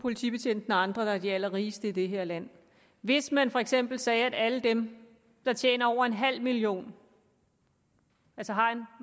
politibetjenten og andre der er de allerrigeste i det her land hvis man for eksempel sagde at alle dem der tjener over en halv million altså har en